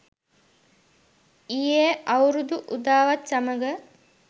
ඊයේ අවුරුදු උදාවත් සමඟ